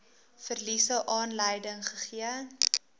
verliese aanleiding gegee